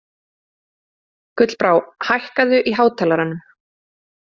Gullbrá, hækkaðu í hátalaranum.